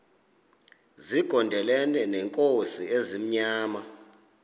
zigondelene neenkosi ezimnyama